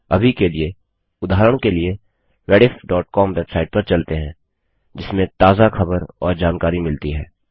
अभी के लिए उदाहरण के लिए rediffकॉम वेबसाइट पर चलते हैं जिसमें ताज़ा खबर और जानकारी मिलती है